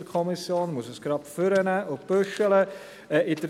Es liegt uns ein Antrag auf eine zweite Lesung vor.